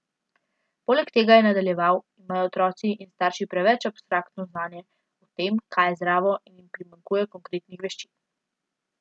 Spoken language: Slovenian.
Poleg tega, je nadaljeval, imajo otroci in starši preveč abstraktno znanje o tem, kaj je zdravo in jim primanjkuje konkretnih veščin.